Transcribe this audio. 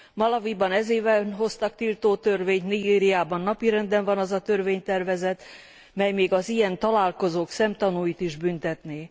Malawiban ez évben hoztak tiltó törvényt, Nigériában napirenden van az a törvénytervezet, mely még az ilyen találkozók szemtanúit is büntetné.